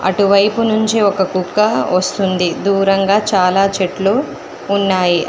అటువైపు నుంచి ఒక కుక్క వస్తుంది దూరంగా చాలా చెట్లు ఉన్నాయి ఆ--